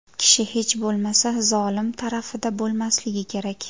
Kishi hech bo‘lmasa, zolim tarafida bo‘lmasligi kerak.